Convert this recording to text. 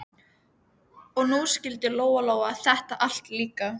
Og nú skildi Lóa-Lóa þetta allt líka.